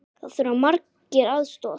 Þar þurfa margir aðstoð.